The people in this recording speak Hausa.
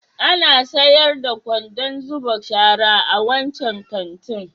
Ana sayar da kwandon zuba shara a wancan kantin?